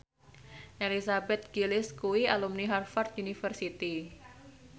Elizabeth Gillies kuwi alumni Harvard university